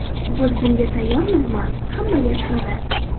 Biz bunga tayyormizmi, hamma gap shunda.